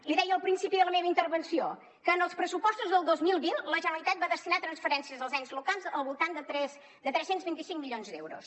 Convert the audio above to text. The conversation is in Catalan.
li deia al principi de la meva intervenció que en els pressupostos del dos mil vint la generalitat va destinar a transferències als ens locals al voltant de tres cents i vint cinc milions d’euros